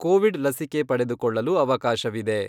Covid ಲಸಿಕೆ ಪಡೆದುಕೊಳ್ಳಲು ಅವಕಾಶವಿದೆ.